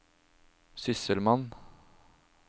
sysselmann